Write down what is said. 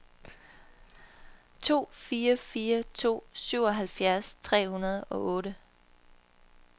to fire fire to syvoghalvfjerds tre hundrede og otte